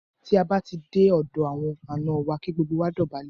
Tí a bá ti dé ọ̀dọ̀ àwọn àná wa, kí gbogbo wa dọ̀bálẹ̀.